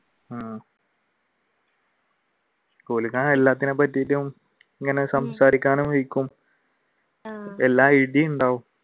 ആഹ് എല്ലാ idea ഉണ്ടാവും